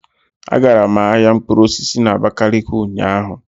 Agara m ahịa mkpụrụ osisi na abakaliki ụnyaahụ.